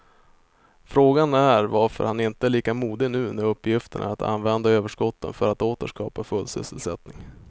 Frågan är varför han inte är lika modig nu när uppgiften är att använda överskotten för att åter skapa full sysselsättning.